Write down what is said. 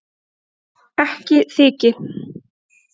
Ekki þyki